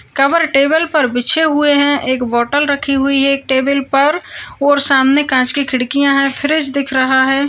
Cover table पर बिछे हुए हैं एक बॉटल रखी हुई है एक टेबल पर और सामने कांच की खिड़कियां हैं फ्रिज दिख रहा है।